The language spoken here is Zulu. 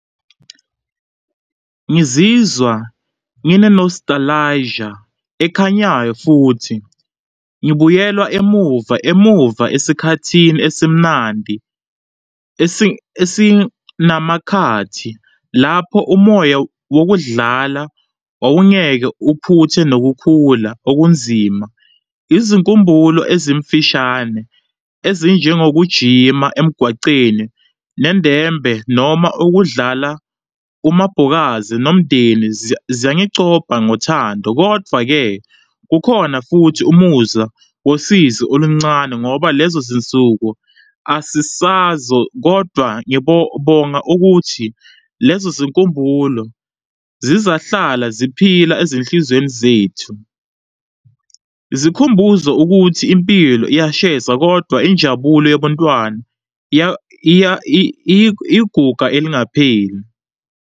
Ngizizwa ngine-nostalgia ekhanyayo futhi ngibuyelwa emuva emuva esikhathini esimnandi, esinamakhathi lapho umoya wokudlala wawungeke uphuthe nokukhula okunzima. Izinkumbulo ezimfishane ezinjengokujima emgwaceni, nendembe noma ukudlala umbhokazi nomndeni ziyangicopha ngothando. Kodvwa-ke kukhona futhi umuzwa wosizi oluncane ngoba lezo zinsuku asisazo kodwa ngibonga ukuthi lezo zinkumbulo zizahlala ziphila ezinhlizweni zethu, zikhumbuzo ukuthi impilo iyashesa kodwa injabulo yabantwana, iyiguga elingapheli.